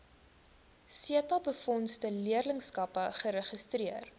setabefondse leerlingskappe geregistreer